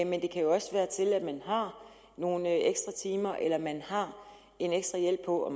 men det kan jo også være tilladt man har nogle ekstra timer eller at man har en ekstra hjælp på